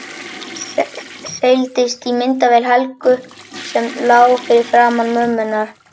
Seildist í myndavél Helgu sem lá fyrir framan mömmu hennar.